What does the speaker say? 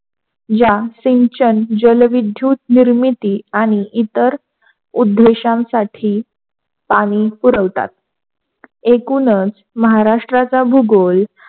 या सिंचन आणि जलविद्युत निर्मिती आणि इतर उद्देशांसाठी पाणी पुरवतात. एकूणच महाराष्ट्राचा भूगोल,